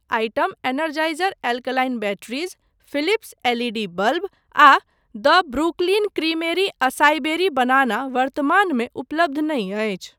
Item Energizer alkaline batteries, Philips L E D bulb आ the Brooklyn Creamery acai berry banana वर्तमानमे उपलब्ध नहि अछि।